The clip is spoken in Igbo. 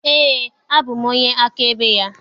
Eé, abụ m onye akaebe ya.